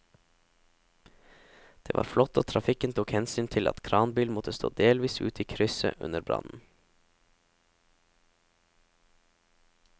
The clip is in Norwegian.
Det var flott at trafikken tok hensyn til at kranbilen måtte stå delvis ute i krysset under brannen.